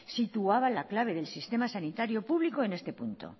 situaba la clave del sistema sanitario público en este punto